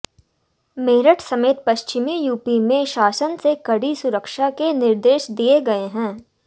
मेरठ समेत पश्चिमी यूपी में शासन से कड़ी सुरक्षा के निर्देश दिए गए हैं